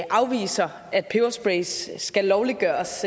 afviser at pebersprays skal lovliggøres